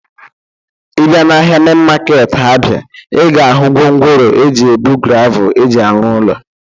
Ị bịa n'ahia mein market Abia, ị ga-ahụ gwongworo eji ebu gravụl eji arụ ụlọ.